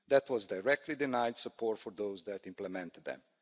That was directly denying support for those who implemented them.